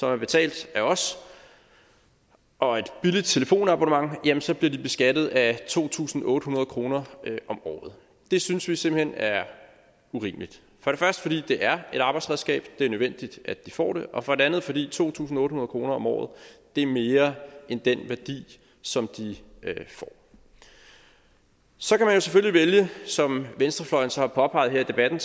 er betalt af os og et billigt telefonabonnement jamen så bliver de beskattet af to tusind otte hundrede kroner om året det synes vi simpelt hen er urimeligt for det første fordi det er et arbejdsredskab det er nødvendigt at de får det og for det andet fordi to tusind otte hundrede kroner om året er mere end den værdi som de får så kan man selvfølgelig vælge som venstrefløjen så har påpeget her i debatten